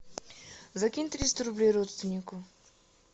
закинь триста рублей родственнику